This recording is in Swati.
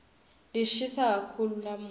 lishisa kakhulu lamuhla